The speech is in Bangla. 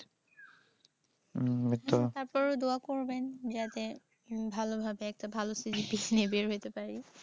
হম তারপরে দোয়া করবেন যাতে ভালো ভাবে একটা ভালো CGPA নিয়ে বের হইতে পারি।